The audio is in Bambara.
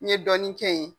N ye dɔɔnin kɛ yen